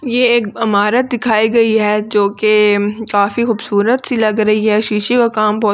ये एक इमारत दिखाई गई है जोकि काफी खूबसूरत सी लग रही है शीशे का काम बहोत--